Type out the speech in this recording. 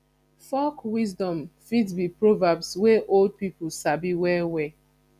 folk wisdom fit be proverbs wey old pipo sabi well well